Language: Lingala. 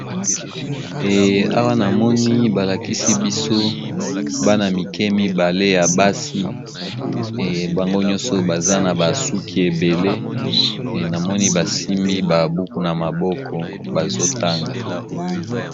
Eh awa na moni ba lakisi biso bana mike mibale ya basi, ebango nyonso baza na ba suki ebele e namoni ba simbi ba buku na maboko bazo tanga.